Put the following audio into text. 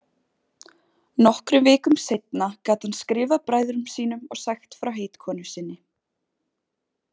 Nokkrum vikum seinna gat hann skrifað bræðrum sínum og sagt frá heitkonu sinni.